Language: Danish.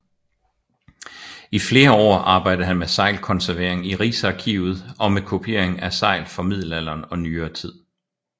I flere år arbejdede han med seglkonservering i Riksarkivet samt med kopiering af segl fra middelalderen og nyere tid